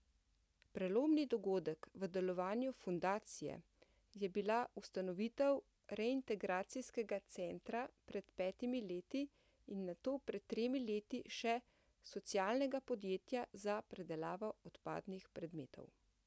Prelomni dogodek v delovanju Fundacije je bila ustanovitev reintegracijskega centra pred petimi leti in nato pred tremi leti še socialnega podjetja za predelavo odpadnih predmetov.